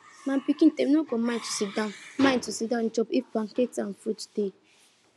my pikin dem no go mind to siddon mind to siddon chop if pancakes and fruit dey